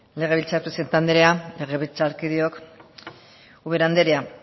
legebiltzar presidente andrea legebiltzarkideok ubera andrea